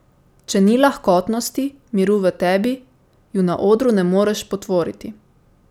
Če ni lahkotnosti, miru v tebi, ju na odru ne moreš potvoriti.